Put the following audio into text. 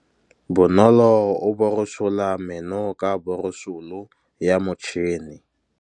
Bonolô o borosola meno ka borosolo ya motšhine.